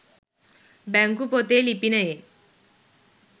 බැංකු පොතේ ලිපිනයෙන්